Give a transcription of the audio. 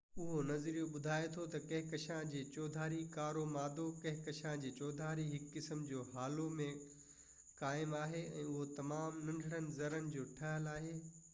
اهو نظريو ٻڌائي ٿو تہ ڪهڪشان جي چوڌاري ڪارو مادو ڪهڪشان جي چوڌاري هڪ قسم جي هالو ۾ قائم آهي ۽ اهو تمام ننڍن زرڙن جا ٺهيل آهن